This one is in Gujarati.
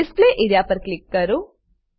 ડિસ્પ્લે એઆરઇએ પર ક્લીક કરો